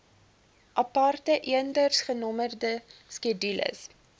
aparte eendersgenommerde skedules